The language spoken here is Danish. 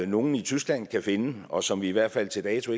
nogle i tyskland kan finde og som vi i hvert fald til dato